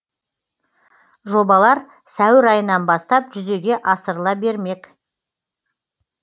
жобалар сәуір айынан бастап жүзеге асырыла бермек